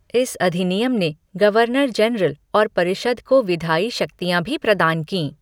इस अधिनियम ने गवर्नर जनरल और परिषद को विधायी शक्तियाँ भी प्रदान कीं।